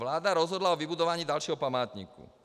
Vláda rozhodla o vybudování dalšího památníku.